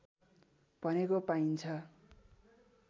भनेको पाइन्छ